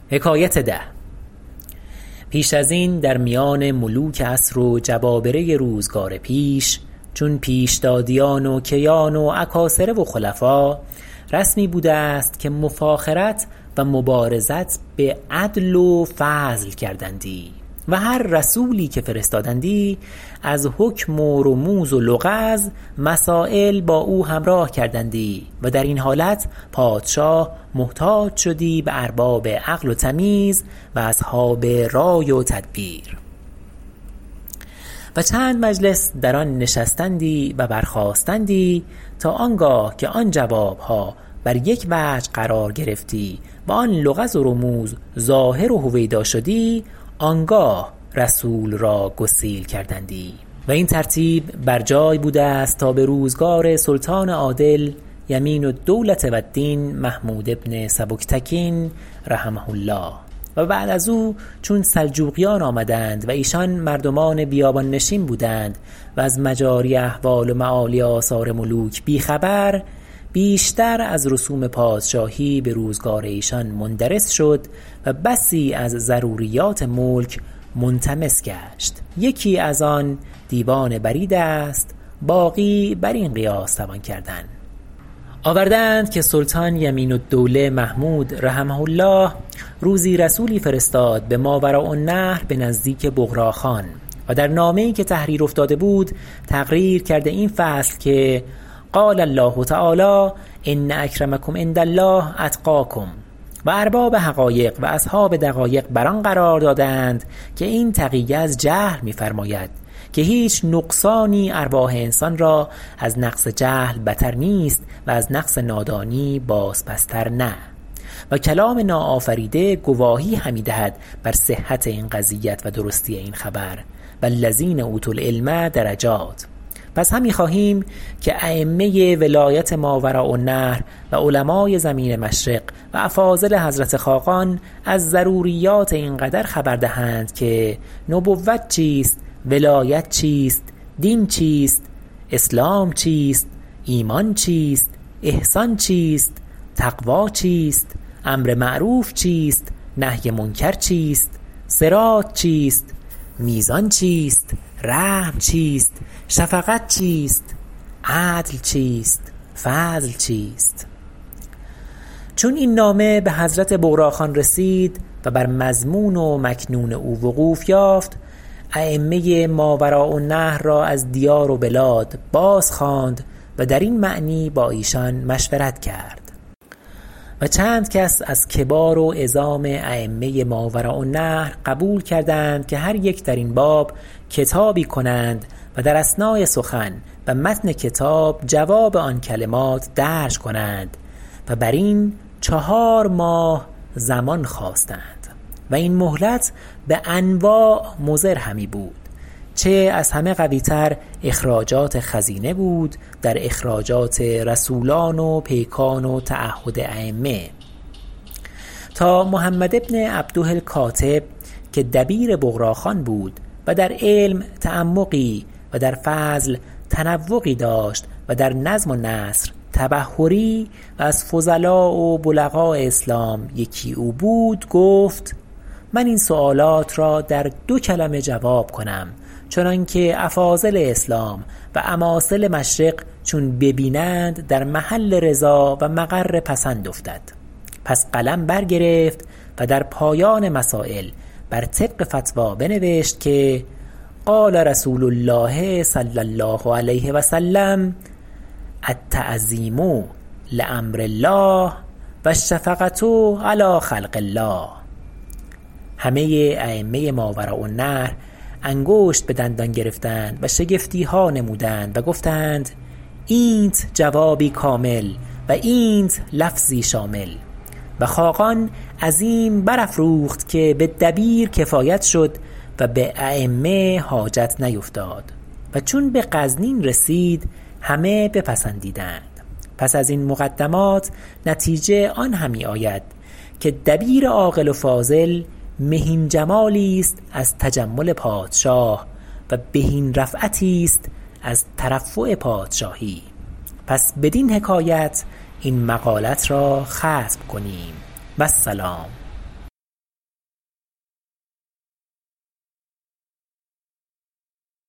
پیش از این در میان ملوک عصر و جبابره روزگار پیش چون پیشدادیان و کیان و اکاسره و خلفاء رسمی بوده است که مفاخرت و مبارزت به عدل و فضل کردندی و هر رسولی که فرستادندی از حکم و رموز و لغز مسایل با او همراه کردندی و در این حالت پادشاه محتاج شدی به ارباب عقل و تمیز و اصحاب رای و تدبیر و چند مجلس در آن نشستندی و برخاستندی تا آنگاه که آن جوابها بر یک وجه قرار گرفتی و آن لغز و رموز ظاهر و هویدا شدی آنگاه رسول را گسیل کردندی و این ترتیب بر جای بوده است تا به روزگار سلطان عادل یمین الدولة و الدین محمود بن سبکتکین رحمه الله و بعد از او چون سلجوقیان آمدند و ایشان مردمان بیابان نشین بودند و از مجاری احوال و معالی آثار ملوک بی خبر بیشتر از رسوم پادشاهی به روزگار ایشان مندرس شد و بسی از ضروریات ملک منطمس گشت یکی از آن دیوان برید است باقی بر این قیاس توان کردن آورده اند که سلطان یمین الدوله محمود رحمه الله روزی رسولی فرستاد به ماوراءالنهر به نزدیک بغراخان و در نامه ای که تحریر افتاده بود تقریر کرده این فصل که قال الله تعالی ان اکرمکم عند الله اتقیکم و ارباب حقایق و اصحاب دقایق بر آن قرار داده اند که این تقیه از جهل می فرماید که هیچ نقصانی ارواح انسان را از نقص جهل بتر نیست و از نقص نادانی باز پس تر نه و کلام ناآفریده گواهی همی دهد بر صحت این قضیت و درستی این خبر والذین اوتوا العلم درجات پس همی خواهیم که ایمه ماوراءالنهر و علماء زمین مشرق و افاضل حضرت خاقان از ضروریات این قدر خبر دهند که نبوت چیست ولایت چیست دین چیست اسلام چیست ایمان چیست احسان چیست تقوی چیست امر معروف چیست نهی منکر چیست صراط چیست میزان چیست رحم چیست شفقت چیست عدل چیست فضل چیست چون این نامه به حضرت بغراخان رسید و بر مضمون و مکنون او وقوف یافت ایمه ماوراءالنهر را از دیار و بلاد باز خواند و در این معنی با ایشان مشورت کرد و چند کس از کبار و عظام ایمه ماوراءالنهر قبول کردند که هر یک در این باب کتابی کنند و در اثناء سخن و متن کتاب جواب آن کلمات درج کنند و بر این چهار ماه زمان خواستند و این مهلت به انواع مضر همی بود چه از همه قوی تر اخراجات خزینه بود در اخراجات رسولان و پیکان و تعهد ایمه تا محمد بن عبده الکاتب که دبیر بغرا خان بود و در علم تعمقی و در فضل تنوقی داشت و در نظم و نثر تبحری و از فضلا و بلغاء اسلام یکی او بود گفت من این سؤالات را در دو کلمه جواب کنم چنان که افاضل اسلام و اماثل مشرق چون ببینند در محل رضا و مقر پسند افتد پس قلم برگرفت و در پایان مسایل بر طریق فتوی بنوشت که قال رسول الله صلی الله علیه و سلم التعظیم لامر الله و الشفقة علی خلق الله همه ایمه ماوراء النهر انگشت به دندان گرفتند و شگفتیها نمودند و گفتند اینت جوابی کامل و اینت لفظی شامل و خاقان عظیم برافروخت که به دبیر کفایت شد و به ایمه حاجت نیفتاد و چون به غزنین رسید همه بپسندیدند پس از این مقدمات نتیجه آن همی آید که دبیر عاقل و فاضل مهین جمالی است از تجمل پادشاه و بهین رفعتی است از ترفع پادشاهی پس بدین حکایت این مقالت را ختم کنیم و السلام